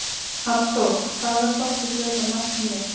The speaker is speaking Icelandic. Hallþór, hvaða stoppistöð er næst mér?